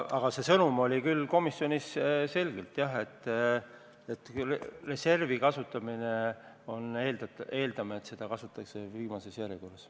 Aga sõnum oli küll komisjonis selgelt see, et reservi kasutamisel me eeldame, et seda kasutatakse viimases järjekorras.